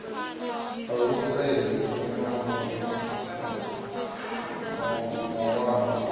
uluso i hanedzaho mawanwa o